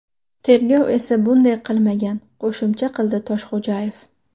Tergov esa bunday qilmagan”, qo‘shimcha qildi Toshxo‘jayev.